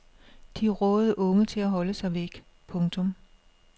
De rådede unge til at holde sig væk. punktum